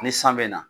Ni san bɛ na